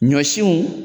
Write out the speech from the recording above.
Ɲɔsinw